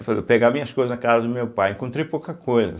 pegar minhas coisas na casa do meu pai, encontrei pouca coisa.